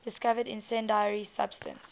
discovered incendiary substance